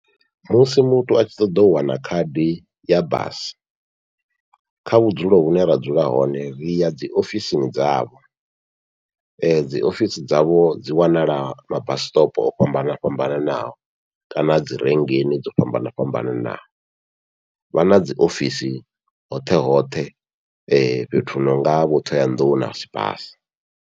Musi muthu atshi ṱoḓa u wana khadi ya basi kha vhudzulo vhune ra dzula hone ri ya dziofisini dzavho, dziofisi dzavho dzi wanala mabasi stop o fhambanana fhambananaho kana dzi renkini dzo fhambana fhambananaho, vha na dziofisi hoṱhe hoṱhe fhethu hu nonga vho Ṱhohoyanḓou na Sibasa.